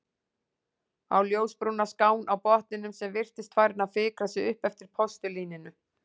Á ljósbrúna skán á botninum sem virtist farin að fikra sig upp eftir postulíninu.